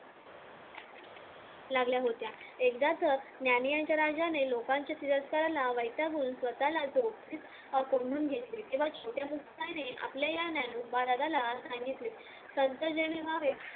लागल्या होत्या एकदा तर ज्ञानियांच्या राज्याने लोकांच्या तिरस्काराला वैतागून स्वतला अं कोंडून घेतले त्याने आपल्या ज्ञानोबा राजाला सांगितले